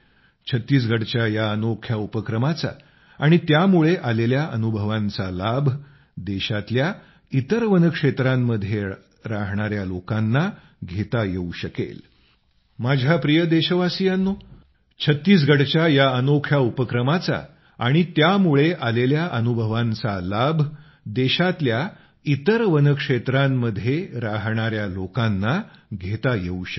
छत्तीसगडच्या या अनोख्या उपक्रमाचा आणि त्यामुळे आलेल्या अनुभवांचा लाभ देशातल्या इतर वनक्षेत्रांमध्ये राहणाया लोकांना घेता येवू शकेल